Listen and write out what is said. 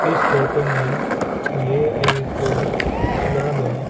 इस फोटो में ये एक कोई तलाब है।